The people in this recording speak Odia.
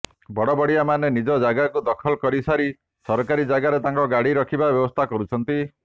ବଡ଼ବଡ଼ିଆମାନେ ନିଜ ଜାଗାକୁ ଦଖଲ କରିସାରି ସରକାରୀ ଜାଗାରେ ତାଙ୍କ ଗାଡ଼ି ରଖିବା ବ୍ୟବସ୍ଥା କରୁଛନ୍ତି